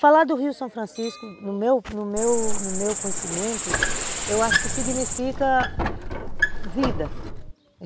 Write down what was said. Falar do Rio São Francisco, no meu no meu no meu conhecimento, eu acho que significa vida.